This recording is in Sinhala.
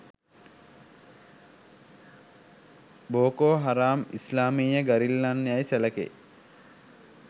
බෝකෝ හරාම් ඉස්ලාමීය ගරිල්ලන් යයි සැලකෙයි